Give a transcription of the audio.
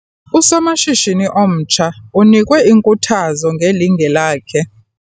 Usomashishini omtsha unikwe inkuthazo ngelinge lakhe.